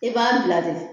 I b'a bila de